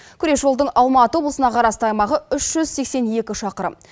күре жолдың алматы облысына қарасты аймағы үш жүз сексен екі шақырым